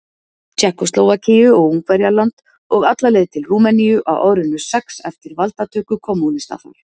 Tékkóslóvakíu og Ungverjaland og alla leið til Rúmeníu á árinu sex eftir valdatöku kommúnista þar.